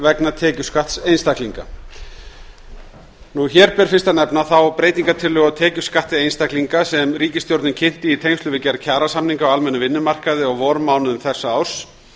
vegna tekjuskatts einstaklinga hér ber fyrst að nefna þá breytingartillögu á tekjuskatti einstaklinga sem ríkisstjórnin kynnti í tengslum við gerð kjarasamninga á almennum vinnumarkaði á vormánuðum þessa árs